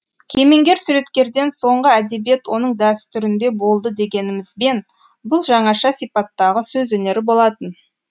кемеңгер суреткерден соңғы әдебиет оның дәстүрінде болды дегенімізбен бұл жаңаша сипаттағы сөз өнері болатын